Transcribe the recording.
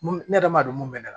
Mun ne yɛrɛ ma don mun bɛ ne la